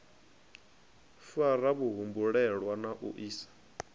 fara vhahumbulelwa na u isa